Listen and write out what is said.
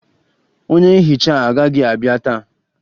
Onye nhicha agaghị abịa taa